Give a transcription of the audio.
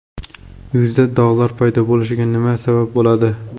Yuzda dog‘lar paydo bo‘lishiga nima sabab bo‘ladi?.